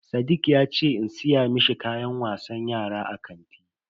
Sadiq yace in siya mishi kayan wasan yara a kanti.